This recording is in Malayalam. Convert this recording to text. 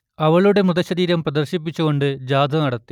അവളുടെ മൃതശരീരം പ്രദർശിപ്പിച്ചുകൊണ്ട് ജാഥ നടത്തി